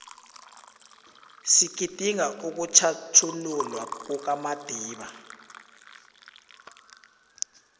sigidinga ukutjhatjhululwa kukamadiba